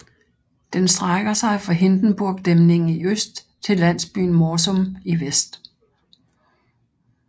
Den strækker sig fra Hindenburgdæmningen i øst til landsbyen Morsum i vest